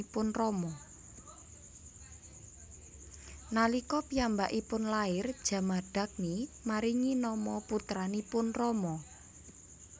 Nalika piyambakipun lair Jamadagni maringi nama putranipun Rama